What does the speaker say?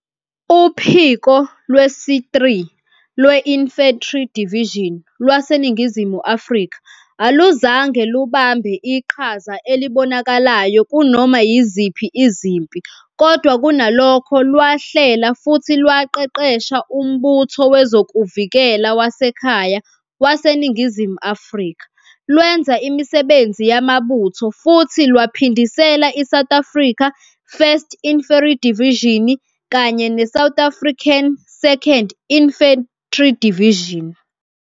Uphiko lwesi-3 lwe-Infantry Division lwaseNingizimu Afrika aluzange lubambe iqhaza elibonakalayo kunoma yiziphi izimpi kodwa kunalokho lwahlela futhi lwaqeqesha umbutho wezokuvikela wasekhaya waseNingizimu Afrika, lwenza imisebenzi yamabutho futhi lwaphindisela iSouth African 1st Infantry Division kanye ne-South African 2nd Infantry Division.